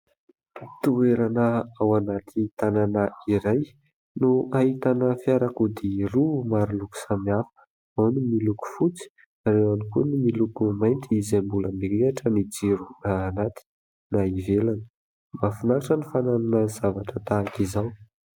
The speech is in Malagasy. Toerana ao anaty tanàna iray no ahitana fiarakodia roa maro loko samihafa, ao ny miloko fotsy, ao ihany koa ny miloko mainty izay mbola mirehatra ny jiro na anaty na ivelana. Mahafinaritra ny fananana zavatra tahaka izao.